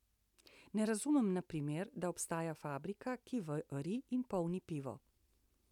Ne razumem na primer, da obstaja fabrika, ki vari in polni pivo.